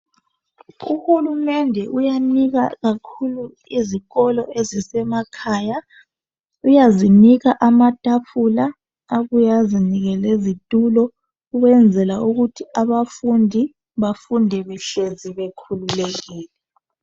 Uhulumende uyanika kakhulu izikolo ezisemakhaya uyazinika amatafula abuye azinike lezitulo ukwenzela ukuthi abafundi befunde behleli bekhululekile.